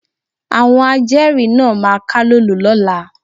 Àwọn ajẹ́rìí náà máa kálòlò lọ́la.